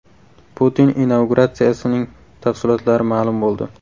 Putin inauguratsiyasining tafsilotlari ma’lum bo‘ldi.